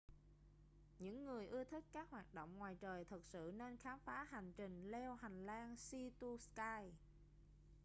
những người ưa thích các hoạt động ngoài trời thực sự nên khám phá hành trình leo hành lang sea to sky